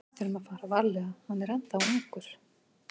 Við þurfum að fara varlega, hann er ennþá ungur.